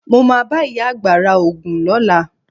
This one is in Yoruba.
Mo máa bá ìyá àgbà ra Ògùn lọ́la.